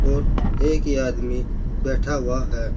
और एक ही आदमी बैठा हुआ है।